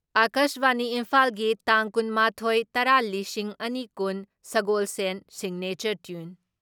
ꯑꯀꯥꯁꯕꯥꯅꯤ ꯏꯝꯐꯥꯜꯒꯤ ꯇꯥꯡ ꯀꯨꯟ ꯃꯥꯊꯣꯏ ꯇꯔꯥ ꯂꯤꯁꯤꯡ ꯑꯅꯤ ꯀꯨꯟ , ꯁꯒꯣꯜꯁꯦꯜ ꯁꯤꯒꯅꯦꯆꯔ ꯇ꯭ꯌꯨꯟ ꯫